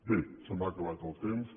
bé se m’ha acabat el temps